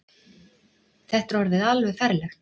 Þetta er alveg orðið ferlegt.